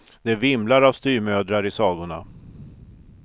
Det vimlar av styvmödrar i sagorna.